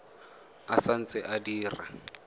e sa ntse e dira